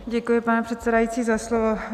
Děkuji, pane předsedající, za slovo.